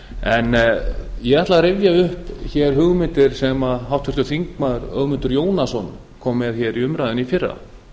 en ég ætla að rifja upp hér hugmyndir sem háttvirtur þingmaður ögmundur jónasson kom með hér í umræðuna í fyrra